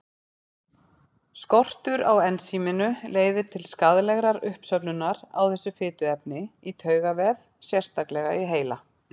Skortur á ensíminu leiðir til skaðlegrar uppsöfnunar á þessu fituefni í taugavef, sérstaklega í heila.